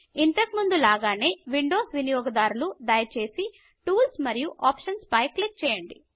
ఇంతకు ముందు లాగానే విండోస్ వినియోగదారులు దయచేసి టూల్స్ మరియు ఆప్షన్స్ పై క్లిక్ చేయండి